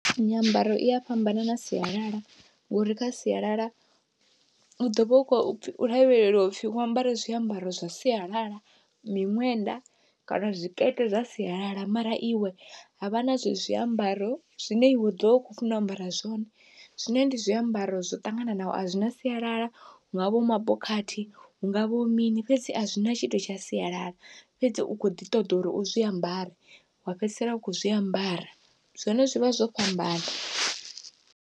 Nyambaro iya fhambana na sialala, ngori kha sialala u ḓovha u khou lavhelelwa upfhi wo ambara zwiambaro zwa sialala miṅwenda kana zwikete zwa sialala, mara iwe havha na zwezwi zwiambaro zwine iwe wa ḓovha u kho funa u ambara zwone zwine ndi zwiambaro zwo ṱangananaho a zwina sialala, hu ngavha hu mabokhathi hu ngavha ho mini fhedzi a zwina tshithu tsha sialala fhedzi u kho ḓi ṱoḓa uri u zwiambare wa fhedzisela u kho zwiambara zwone zwivha zwo fhambana.